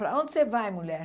Para onde você vai, mulher?